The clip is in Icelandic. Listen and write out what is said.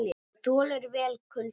Það þolir vel kulda.